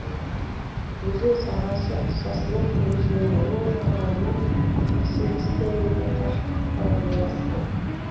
өзен сағасы сосновка өзенінің оң жағалауынан қырық сегіз километр қашықтықта орналасқан